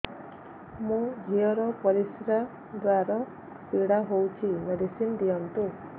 ମୋ ଝିଅ ର ପରିସ୍ରା ଦ୍ଵାର ପୀଡା ହଉଚି ମେଡିସିନ ଦିଅନ୍ତୁ